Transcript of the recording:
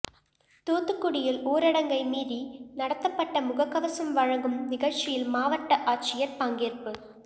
தூத்துக்குடியில் ஊடரடங்கை மீறி நடத்தப்பட்ட முகக்கவசம் வழங்கும் நிகழ்ச்சியில் மாவட்ட ஆட்சியர் பங்கேற்பு